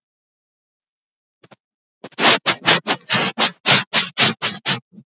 Að ég væri reynd í þessum málum?